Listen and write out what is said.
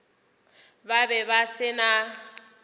ba be ba se na